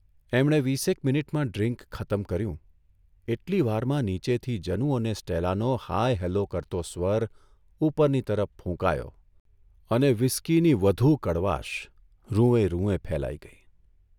એમણે વીસેક મિનિટમાં ડ્રિન્ક ખતમ કર્યું એટલી વારમાં નીચેથી જનુ અને સ્ટેલાનો હાય હલો કરતો સ્વર ઊપરની તરફ ફૂંકાયો અને વ્હિસ્કીની વધુ કડવાશ રૂંવે રૂંવે ફેલાઇ ગઇ.